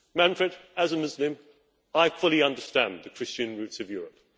Manfred, as a Muslim, I fully understand the Christian roots of Europe.